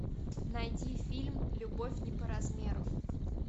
найди фильм любовь не по размеру